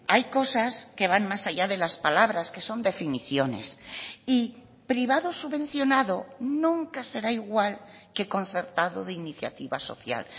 hay cosas que van más allá de las palabras que son definiciones y privado subvencionado nunca será igual que concertado de iniciativa social